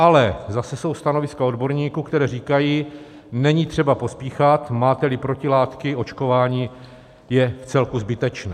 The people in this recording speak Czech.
Ale zase jsou stanoviska odborníků, která říkají: Není třeba pospíchat, máte-li protilátky, očkování je vcelku zbytečné.